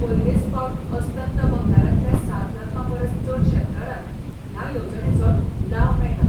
पयलेच फावट अस्तंत बंगालांतल्या सात लाखां परस चड शेतकारांक ह्या येवजणेचो लाव मेळ्ळा.